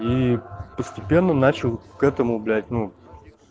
и постепенно начал к этому блять ну